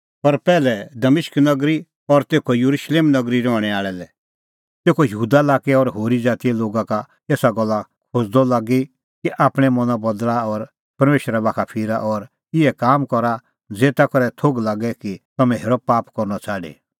पर पैहलै दमिश्क नगरी और तेखअ येरुशलेम नगरी रहणैं आल़ै लै तेखअ यहूदा लाक्कै और होरी ज़ातीए लोगा का एसा गल्ला खोज़दअ लागी कि आपणैं मना बदल़ा और परमेशरा बाखा फिरा और इहै काम करा ज़ेता करै थोघ लागे कि तम्हैं हेरअ पाप करनअ छ़ाडी